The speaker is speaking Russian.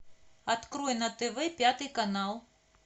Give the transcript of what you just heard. открой на тв пятый канал